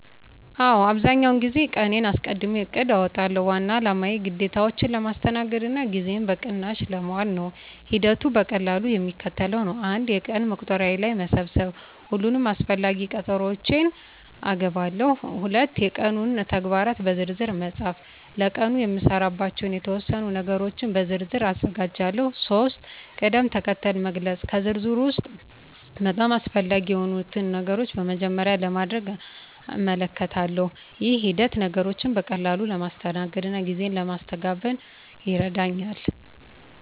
አዎ፣ አብዛኛውን ጊዜ ቀንዴን አስቀድሜ እቅድ አውጣለሁ። ዋና አላማው ግዴታዎቼን ለማስተናገድ እና ጊዜዬን በቅናሽ ለማዋል ነው። ሂደቱ በቀላሉ የሚከተለው ነው፦ 1. የቀን መቁጠሪያ ላይ መሰብሰብ ሁሉንም አስፈላጊ ቀጠሮዎቼን እገባለሁ። 2. የቀኑን ተግባራት በዝርዝር መፃፍ ለቀኑ የምሰራባቸውን የተወሰኑ ነገሮች በዝርዝር ዝርዝር አዘጋጃለሁ። 3. ቅድም-ተከተል መግለጽ ከዝርዝሩ ውስጥ በጣም አስፈላጊ የሆኑትን ነገሮች በመጀመሪያ ለማድረግ እመልከታለሁ። ይህ ሂደት ነገሮችን በቀላሉ ለማስተናገድ እና ጊዜ ለማስተጋበን ይረዳኛል።